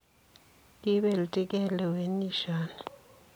Kibelinjigei lewenisioni.